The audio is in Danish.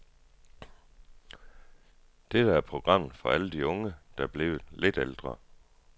Dette er programmet for alle de unge, der er blevet lidt ældre.